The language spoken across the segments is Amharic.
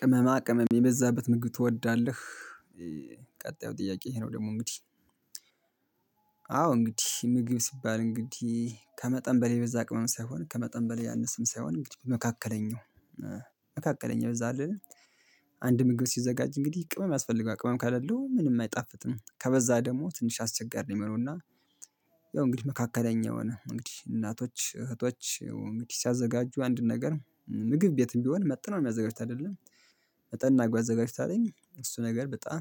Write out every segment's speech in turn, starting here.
ቅመማቅመም የበዛበት ምግብ ትወዳለህ? ቀጣዩ ጥያቄ ይሄ ነው ደግሞ እንግዲህ! አዎ እንግዲህ! ምግብ ሲባል እንግዲህ ከመጠን በላይ የበዛ ቅመም ሳይሆን ከመጠን በላይ ያነሰም ሳይሆን እንግዲህ መካከለኛው መካከለኛው፤ አንድ ምግብ ሲዘጋጅ እንግዲህ ቅመም ያስፈልገዋል፤ ቅመም ካሌለው ምንም አይጣፍጥም። ከበዛ ደግሞ ትንሽ አስቸጋሪ ነው የሚሆነው እና ያው እንግዲህ መካከለኛ የሆነ እንግዲህ እናቶች፣ እህቶች እንግዲህ ሲያዘጋጁ አንድ ነገር ምግብ ቤትም ቢሆን መጥነው ነው የሚያዘጋጁት አይደለም? መጠን አርገው አዘጋጅው ካለኝ እሱ ነገር በጣም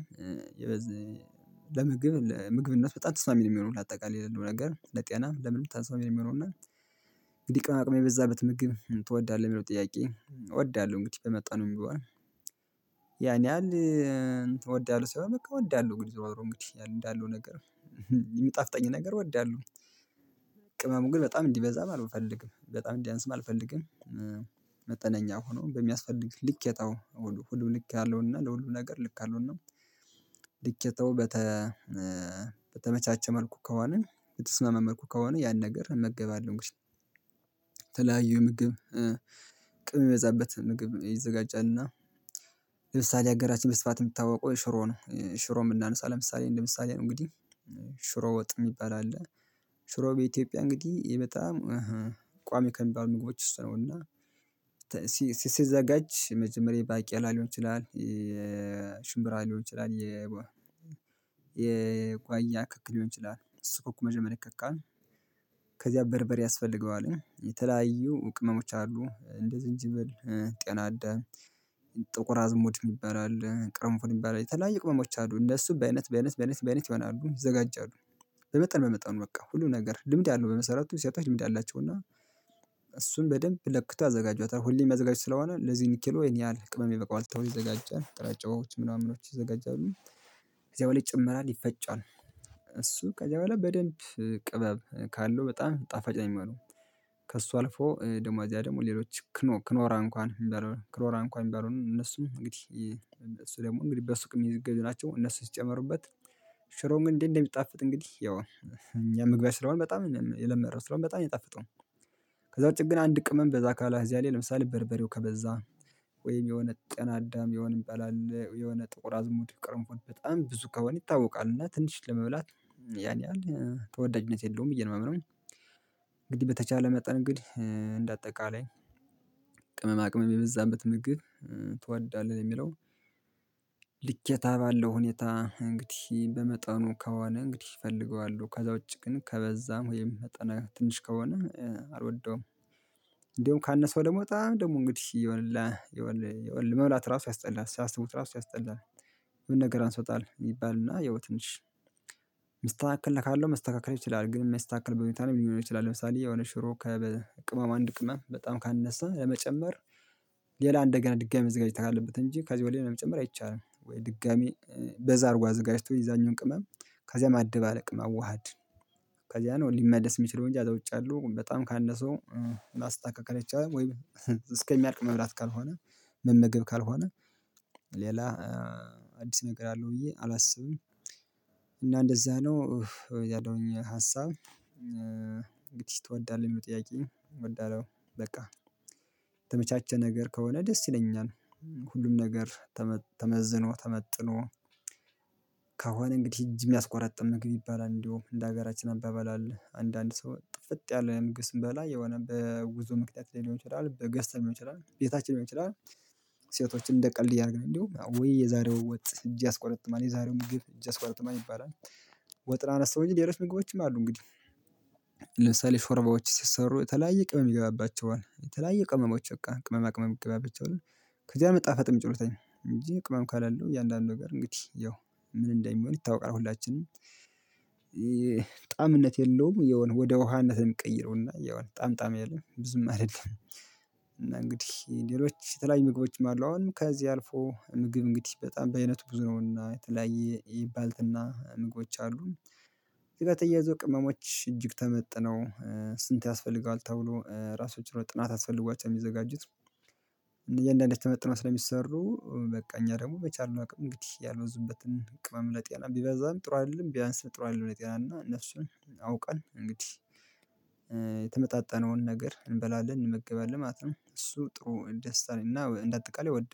ለምግብ ምግብነት በጣም ተስማሚ ነው የሚሆነው ለአጠቃላይ ላለው ነገር ለጤና ለምንም ተስማሚ ነው የሚሆነው እና እንግዲህ ቅመማቅመም የበዛበት ምግብ ትወዳለህ የሚለው ጥያቄ እወዳለሁ እንግዲህ በመጠኑም ቢሆን ያኔ ያህል እወዳለሁ ሳይሆን በቃ እወዳለሁ እንግዲህ ዞሮ ዞሮ እንግዲህ እንዳለው ነገር የሚጣፍጠኝ ነገር እወዳለሁ ቅመሙን ግን በጣም እንዲበዛም አልፈልግም፤ በጣም እንዲያንስም አልፈልግም መጠነኛ ሆኖ በሚያስፈልግ ልኬታው ሁሉ ልክ ያለውና ለሁሉ ነገር ልክ ያለውና ልኬታው በተ በተመቻቸ መልኩ ከሆነ፣ በተስማማ መልኩ ከሆነ ያን ነገር እመገባለሁ የተለያዩ የምግብ ቅመም የበዛበት ምግብ ይዘጋጃልና፤ ለምሳሌ አገራችን በስፋት የምትታወቀው ሽሮ ነው። ሽሮ የምናነሳው ለምሳሌ እንደ ምሳሌ ነው እንግዲህ። ሽሮ ወጥ የሚባል አለ። ሽሮ በኢትዮጵያ እንግዲህ በጣም ቋሚ ከሚባሉ ምግቦች ውስጥ ነው እና ሲዘጋጅ መጀመሪያ የባቄላ ሊሆን ይችላል ሽምብራ ሊሆን ይችላል፣ የጓያ ክክ ሊሆን ይችላል። እሱ መጀመሪያ ይከካል። ከዚያ በርበሬ ያስፈልገዋል። የተለያዩ ቅመሞች አሉ፤ እንደ ዝንጅብል፣ ጤናዳ ጥቁር አዝሙድ የሚባል አለ፣ ቅሩንፉድ የሚባለው የተለያየ ቅመሞች አሉ። እነሱ በአይነት፣ በአይነት፣ በአይነት ይሆናሉ ይዘጋጃሉ። በመጠን በመጠኑ በቃ ሁሉ ነገር ልምድ ያለው በመሰረቱ ሴቶች ልምድ አላቸው እና እሱን በደንብ ለክቶ ያዘጋጇታል። ሁሌም የሚያዘጋጁት ስለሆነ ለዚህ ያህል ኪሎ ይሄን ያህል ቅመም ይበቃዋል ተብሎ ይዘጋጃል። ጥራጫዎች ምናምኖች ይዘጋጃሉ እዚያው ላይ የፈጫል። እሱ ከዚያ በኋላ በደንብ ቅመም ካለው በጣም ጣፋጭ ነው የሚሆነው። ከእሱ አልፎ ደሞ ከዚያ ደግሞ ሌሎች ክኖር እንኳን ክኖር እንኳን የሚባለውን እነሱም እንግዲህ እሱ ደግሞ እንግዲህ በሱቅ የሚዙ ናቸው እነሱ ሲጨመሩበት ሽሮው ግን እንዴት እንደሚጣፍጥ እንግዲህ ያው እኛ መግባችን ስለሆነ በጣም የለመድነው ሽሮው በጣም ነው የሚጣፍጠው ከዛ ውጪ ግን አንድ ቅመም በዛ ካለ እዚያ ላይ ለምሳሌ በርበሬው ከበዛ ወይም የሆነ ጤናዳም የሆነ የሚባል አለ፣ የሆነ ጥቁር አዝሙድ፣ ቁሩንፉድ በጣም ብዙ ከሆነ ይታወቃል እና ትንሽ ለመብላት ያን ያህል ተወዳጅነት የለውም ብዬ ነው የማምነው። እንግዲህ በተቻለ መጠን እንግዲህ እንደ አጠቃላይ ቅመማ ቅመም የበዛበት ምግብ ትወዳለህ የሚለው ልኬታ ባለው ሁኔታ እንግዲህ በመጠኑ ከሆነ እንግዲህ እፈልገዋለሁ። ከዛ ውጪ ግን ከበዛም ወይም መጠነ ትንሽ ከሆነ አልወደውም። እንደውም ካነሰው ደግሞ በጣም ደግሞ እንግዲህ መብላት እራሱ ያስጠላል ሲያስቡት እራሱ ያስጠላል። የሆነ ነገር አንሶታል ይባልና ያው ትንሽ የሚስተካከል ነገር ካለው መስተካከል ይችላል ግን የማይስተካከል ሁኔታም ሊኖር ይችላል። ለምሳሌ የሆነ ሽሮ ቅመሙ አንድ ቅመም በጣም ካነሳ ለመጨመር ሌላ እንደገና ድጋሚ መዘጋጀት አለበት እንጂ ከዚህ ወዲያ ለመጨመር አይቻልም። ወይ ድጋሚ በዛ አድርጎ አዘጋጅቶ የዛኛዉን ቅመም ከዚያም አለቅ መዋሃድ ከዛ ነው ሊመለስ የሚችለው እንጂ ከዛ ውጭ ያለው በጣም ካነሰው ማስተካከል አይቻልም ወይም እስከሚያልቅ መብላት ካልሆነ መመገብ ካልሆነ ሌላ አዲስ ነገር አለው ብዬ አላስብም። እና እንደዛ ነው ከዚያ ደግሞ የኔ ሀሳብ እንግዲህ ትወዳለህ የሚለው ጥያቄ እወዳለሁ በቃ የተመቻቸ ነገር ከሆነ ደስ ይለኛል። ሁሉም ነገር ተመዝኖ ተመጥኖ ከሆነ እንግዲህ እጅ የሚያስቆረጥም ምግብ ይባላል እንደውም እንደ ሀገራችን አባባል አለ። አንዳንድ ሰው ጥፍጥ ያለ ምግብ ስንበላ የሆነ በጉዞ ምክንያት ሊሆን ይችላል፣ በግ ገዝተን ሊሆን ይችላል፣ ቤታችን ሊሆን ይችላል ሴቶችን እንደ ቀልድ እያደረግን እንደውም ዉይ የዛሬው ወጥ እጅ አስቆረጥማል፣ የዛሬው ምግብ እጅ ያስቆረጥማል ይባላል ወጥን አነሳሁ እንጂ ሌሎች ምግቦችም አሉ እንግዲህ። ለምሳሌ ሾርባዎች ሲሰሩ የተለያየ ቅመም ይገባባቸዋል። የተለያየ ቅመሞች በቃ ቅመማ ቅመም ይገባባቸዋል። ከዛ ነው መጣፈጥ የሚችሉት እንጂ ቅመም ካሌለው እያንዳንዱ ነገር እንግዲህ ያው ምን እንደሚሆን ይታወቃል ሁላችንም ጣእምነት የለውም የሆነ ወደ ውሃነት ነው የሚቀየረው። የሆነ ጣም ጣም የለም ብዙም አይደለም እና እንግዲህ ሌሎች የተለያዩ ምግቦችም አሉ አሁን ከዚህ አልፎ ምግብ እንግዲህ በጣም በአይነቱ ብዙ ነውና የተለያየ የባልትና ምግቦች አሉ ከዚህ ጋር ተያይዞ ቅመሞች እጅግ ተመጥነው ስንት ያስፈልገዋል ተብሎ ራሱን ችሎ ጥናት አስፈልጓቸው የሚዘጋጁት እያንዳንዳቸው ተመጥኖ ስለሚሰሩ በቃ እኛ ደግሞ በቻልነው አቅም እንግዲህ ያልበዙበትን ቅመም ለጤና ቢበዛም ጥሩ አይደለም ቢያንስም ጥሩ አይደለም ለጤና እና እነሱን አውቀን እንግዲህ የተመጣጠነውን ነገር እንበላለን፣ እንመገባለን ማለት ነው። እሱ ጥሩ ደስታ ነው እና እንደ አጠቃላይ ወደ